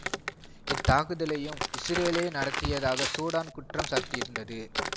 இத்தாக்குதலையும் இசுரேலே நடத்தியதாக சூடான் குற்றம் சாட்டியிருந்தது